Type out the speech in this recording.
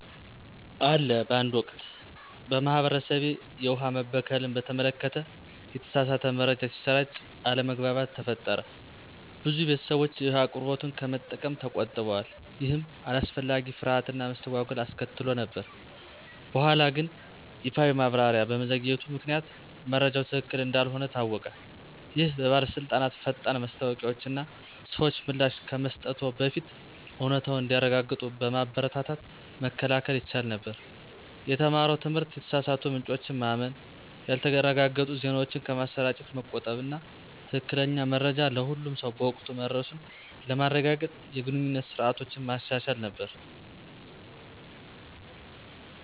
አለ በአንድ ወቅት፣ በማህበረሰቤ፣ የውሃ መበከልን በተመለከተ የተሳሳተ መረጃ ሲሰራጭ አለመግባባት ተፈጠረ። ብዙ ቤተሰቦች የውሃ አቅርቦቱን ከመጠቀም ተቆጥበዋል, ይህም አላስፈላጊ ፍርሃት እና መስተጓጎል አስከትሎ ነበር። በኋላግን ይፋዊ ማብራሪያ በመዘግየቱ ምክንያት መረጃው ትክክል እንዳልሆነ ታወቀ። ይህ በባለስልጣናት ፈጣን ማስታወቂያዎች እና ሰዎች ምላሽ ከመስጠትዎ በፊት እውነታውን እንዲያረጋግጡ በማበረታታት መከላከል ይቻል ነበር። የተማረው ትምህርት የተሳሳቱ ምንጮችን ማመን፣ ያልተረጋገጡ ዜናዎችን ከማሰራጨት መቆጠብ እና ትክክለኛ መረጃ ለሁሉም ሰው በወቅቱ መድረሱን ለማረጋገጥ የግንኙነት ስርዓቶችን ማሻሻል ነበር።